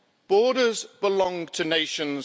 Borders belong to nations.